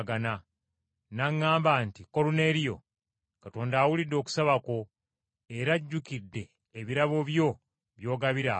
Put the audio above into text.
N’aŋŋamba nti, ‘Koluneeriyo, Katonda awulidde okusaba kwo, era ajjukidde ebirabo byo by’ogabira abaavu.